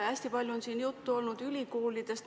Hästi palju on siin juttu olnud ülikoolidest.